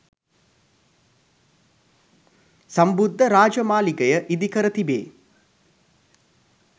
සම්බුද්ධ රාජමාලිගය ඉදිකර තිබේ